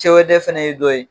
Cɛwodɛ fɛnɛ ye dɔ ye